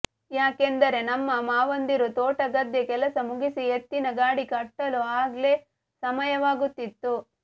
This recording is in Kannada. ಯಾಕೆಂದರೆ ನಮ್ಮ ಮಾವಂದಿರು ತೋಟ ಗದ್ದೆ ಕೆಲಸ ಮುಗಿಸಿ ಎತ್ತಿನ ಗಾಡಿ ಕಟ್ಟಲು ಆಗ್ಲೇ ಸಮಯವಾಗುತ್ತಿದ್ದು